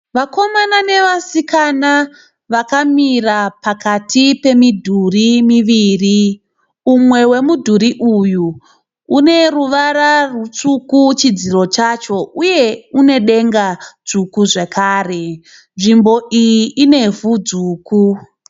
Vakomana nevasikana vakamira pakati pemidhuri miviri, umwe wemudhuri uyu une ruvara rutsvuku chidziro chacho, uye une denga dzvuku zvakare. Nzvimbo iyi inevhu dzvuku.